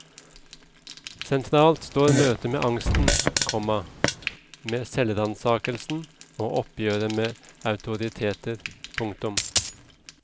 Sentralt står møtet med angsten, komma med selvransakelse og oppgjøret med autoriteter. punktum